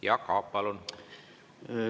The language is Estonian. Jaak Aab, palun!